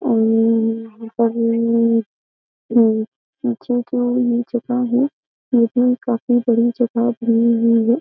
पीछे जो ये जगह है ये भी काफी बड़ी जगह बनी हुई है।